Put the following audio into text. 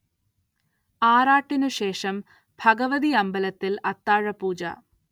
ആറാട്ടിനുശേഷം ഭഗവതി അമ്പലത്തിൽ അത്താഴപൂജ.